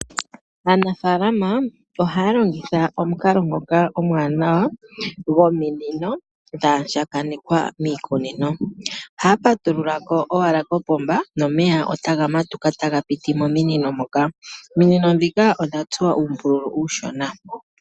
Aanafalama oha longitha omukalo ngoka omwaanawa gominino dha andjakanekwa miikunino. Ohaya patulula ko owala kopomba nomeya otaga piti mominino moka. Ominino dhika odha tsuwa uumbululu uushona.